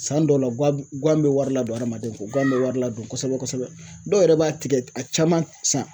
San dɔw la guwan guwan be wari ladon adamaden kun guwan be wari ladon kosɛbɛ kosɛbɛ dɔw yɛrɛ b'a tigɛ a caman san